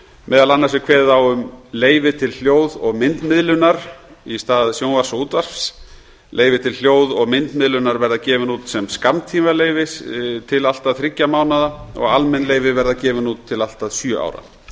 meðal annars er kveðið á um leyfi til hljóð og myndmiðlunar í stað sjónvarps og útvarps leyfi til hljóð og myndmiðlunar verða gefin út sem skammtímaleyfi til allt að þriggja mánaða og almenn leyfi verða gefin út til allt að sjö ára